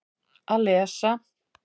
Að lesa